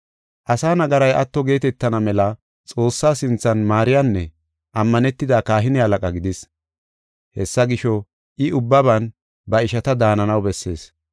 Asaa nagaray atto geetetana mela Xoossaa sinthan maariyanne ammanetida kahine halaqa gidis. Hessa gisho, I ubbaban ba ishata daananaw bessees.